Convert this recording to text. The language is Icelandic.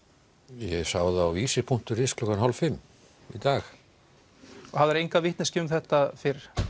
ég sá það á punktur is klukkan hálf fimm í dag hafðiru enga vitneskju um þetta fyrr